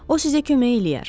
O sizə kömək eləyər.